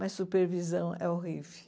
Mas supervisão é horrível.